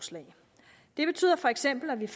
en